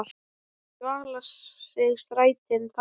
í dvala sig strætin þagga.